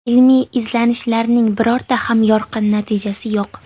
Ilmiy izlanishlarning birorta ham yorqin natijasi yo‘q.